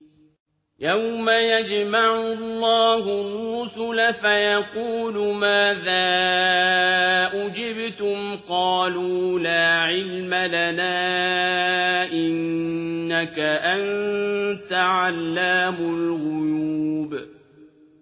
۞ يَوْمَ يَجْمَعُ اللَّهُ الرُّسُلَ فَيَقُولُ مَاذَا أُجِبْتُمْ ۖ قَالُوا لَا عِلْمَ لَنَا ۖ إِنَّكَ أَنتَ عَلَّامُ الْغُيُوبِ